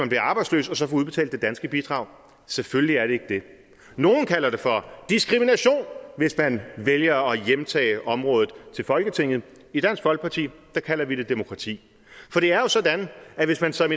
bliver arbejdsløs og så får udbetalt det danske bidrag selvfølgelig er det ikke det nogle kalder det for diskrimination hvis man vælger at hjemtage området til folketinget i dansk folkeparti kalder vi det demokrati for det er jo sådan at hvis man som